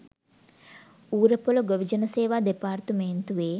ඌරපොළ ගොවිජන සේවා දෙපාර්තමේන්තුවේ